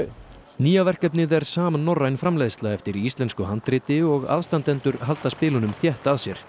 nýja verkefnið er samnorræn framleiðsla eftir íslensku handriti og aðstandendur halda spilunum þétt að sér